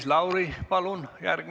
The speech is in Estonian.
Aitäh!